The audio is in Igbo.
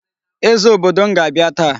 Eze obodo m ga-abịa taa.